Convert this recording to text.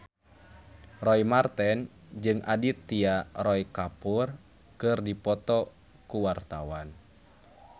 Roy Marten jeung Aditya Roy Kapoor keur dipoto ku wartawan